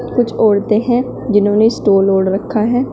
कुछ औरतें हैं जिन्होंने स्टोल ओढ़ रखा है।